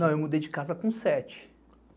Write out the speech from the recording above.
Não, eu mudei de casa com sete.